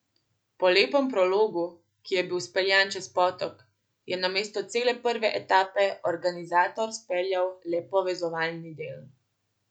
Po lepem prologu, ki je bil speljan čez potok, je namesto cele prve etape organizator speljal le povezovalni del.